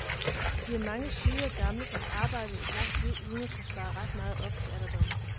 Vi er mange syge og gamle, der har arbejdet et langt liv uden at kunne spare ret meget op til alderdommen.